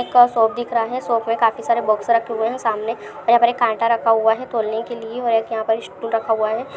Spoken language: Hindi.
एक और शॉप दिख रहा है शॉप में काफी सारे बॉक्स रखे हुए हैं सामने और यहां पर एक कांटा रखा हुआ हैं तोलने के लिए और यहां पर एक स्टूल रखा हुआ है।